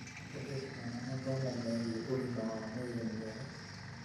kũhe ciana mathomo megie ũgima wa mwĩrĩ mwega,